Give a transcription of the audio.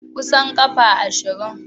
Kusan kafa ashirin.